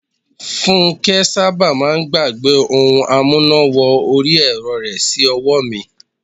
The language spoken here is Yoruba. Funke sábà máà ń gbàgbẹ́ ohun amúná wọrí ẹ̀rọ rẹ̀ sí ọwọ́ mi.